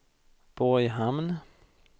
Borghamn